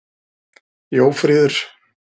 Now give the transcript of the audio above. Jófríður